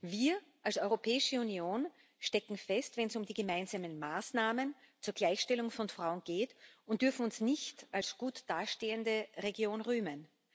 Wir als Europäische Union stecken fest, wenn es um die gemeinsamen Maßnahmen zur Gleichstellung von Frauen geht, und dürfen uns nicht als gut dastehende Region rühmen.